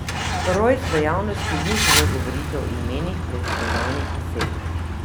Rojs v javnosti ni želel govoriti o imenih preiskovanih oseb.